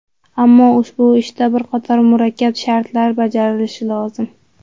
Ammo ushbu ishda bir qator murakkab shartlar bajarilishi lozim.